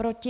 Proti?